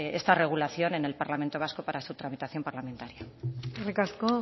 esta regulación en el parlamento vasco para su tramitación parlamentaria eskerrik asko